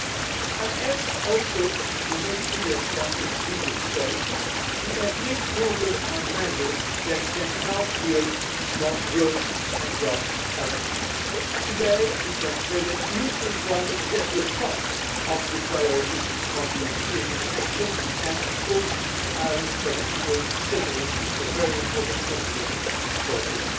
We also made clear in the previous debate that we have made progress on measures which can help create more growth and jobs directly. Today we can say that youth employment is at the top of the priorities for European Union action and of course the Irish Presidency made certainly a very important contribution towards this.